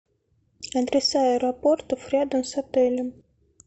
адреса аэропортов рядом с отелем